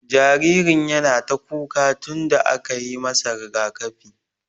Jaririn yana ta kuka tun da aka yi masa rigaƙafi.